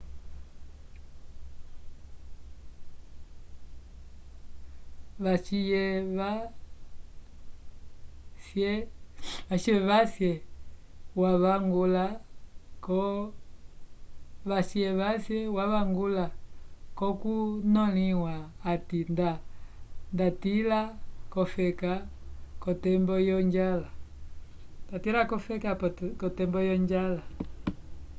vaciyevahsie wavangula konkunoliwa ati nda ndatila ko feka kotembo yo njala